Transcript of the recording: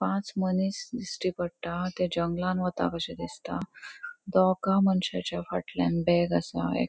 पाच मनिस दिष्टी पट्टा ते जंगलान वता कशे दिसता दोगा मनशाच्या फाटल्यान बॅग असा एक --